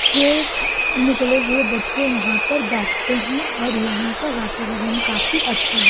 से निकले हुए बच्चे यहां पर बैठते हैं और यहां का वातावरण काफी अच्छा है।